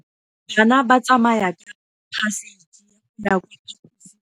Bana ba tsamaya ka phašitshe go ya kwa phaposiborobalong.